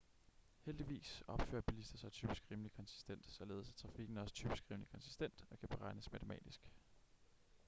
heldigvis opfører bilister sig typisk rimelig konsistent således er trafikken også typisk rimelig konsistent og kan beregnes matematisk